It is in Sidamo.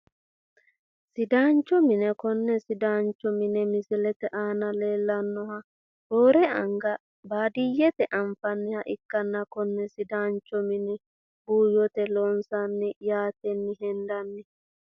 Sidaancho mine kone sidaancho mine misilete aana leelanoha roore anga baadiyete anfaniha ikanna konne sidaancho mine buuyite loonsani yaateni hendani.